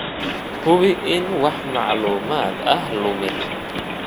Hubi in aan wax macluumaad ah lumin.